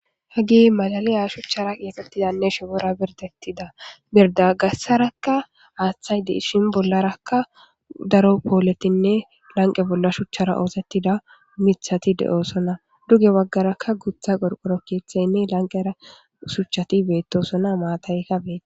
ha gi malaliya shuchchara qieqettidanne shopora birdettida mirda gassarakka aaththay deishin bollarakka daro pooletinne lanqe bolla shuchchara oosettida mithati de7osona duge waggaraka gutha qorqoro kiethaynne lanqera shuchati beettosona maatay kabeti